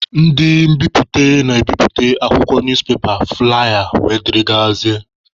Ndị mbiputa na-ebiputa akwụkwọ, newspaper, flụlaya wdg.